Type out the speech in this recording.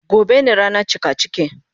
Gobe ne rana cikaciki.